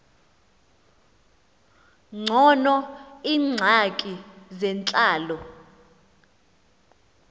ngcono iingxaki zentlalo